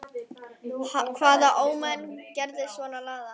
Hvaða ómenni gera svona lagað?